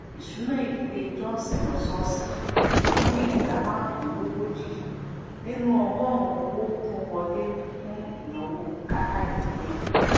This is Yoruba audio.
ìṣúná ìdílé johnson lọsọọsẹ pin ìdá márùndínlógójì nínú ọgọrùnún owó tó n wọlé fun ìnáwó bùkátà ìdìlé